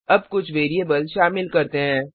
अब कुछ वैरिएबल शामिल करते हैं